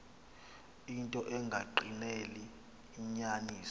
into engagqineli inyaniso